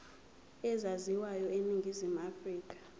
ezaziwayo eningizimu afrika